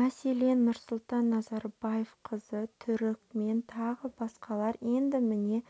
мәселен нұрсұлтан назарбаев қызы түрікмен тағы басқалар енді міне